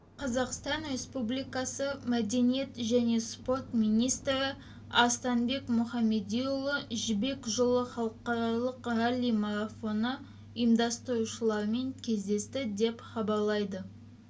қазақстан республикасы мәдениет және спорт министрі арыстанбек мұхамедиұлы жібек жолы халықаралық ралли-марафоны ұйымдастырушыларымен кездесті деп хабарлайды